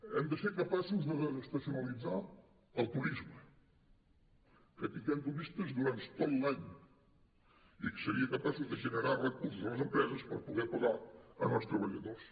hem de ser capaços de desestacionalitzar el turisme que tinguem turistes durant tot l’any que serien capaços de generar recursos a les empreses per poder pagar els treballadors